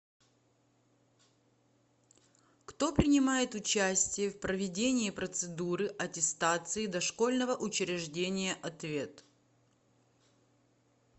кто принимает участие в проведении процедуры аттестации дошкольного учреждения ответ